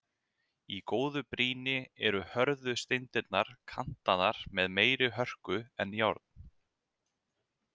Í góðu brýni eru hörðu steindirnar kantaðar með meiri hörku en járn.